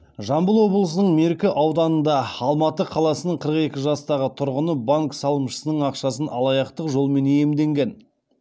жамбыл облысының меркі ауданында алматы қаласының қырық екі жастағы тұрғыны банк салымшысының ақшасын алаяқтық жолмен иемденген